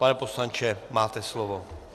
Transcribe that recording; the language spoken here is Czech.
Pane poslanče, máte slovo.